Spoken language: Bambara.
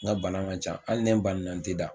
N ka bana man can hali ni banana n tɛ da.